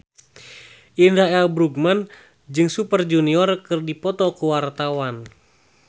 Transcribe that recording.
Indra L. Bruggman jeung Super Junior keur dipoto ku wartawan